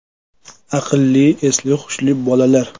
Aqlli, esli-hushli bolalar.